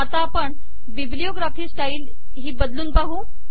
आता आपण bibliography style हि बदलून पाहू